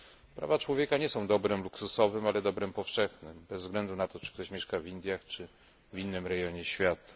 Prawa człowieka nie są dobrem luksusowym, ale dobrem powszechnym bez względu na to, czy ktoś mieszka w Indiach, czy w innym rejonie świata.